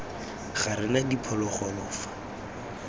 ga re na diphologolo fa